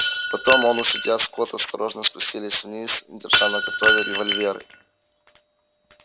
потом он и судья скотт осторожно спустились вниз держа наготове револьверы